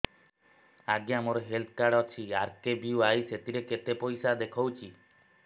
ଆଜ୍ଞା ମୋର health card ଅଛି ଆର୍.କେ.ବି.ୱାଇ ସେଥିରେ କେତେ ପଇସା ଦେଖଉଛି